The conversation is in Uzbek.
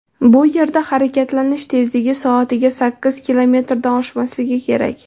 Bu yerda harakatlanish tezligi soatiga sakkiz kilometrdan oshmasligi kerak.